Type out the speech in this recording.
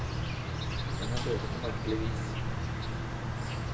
Men han døde på merkelig vis.